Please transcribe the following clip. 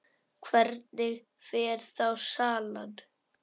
Hvernig fer þá salan?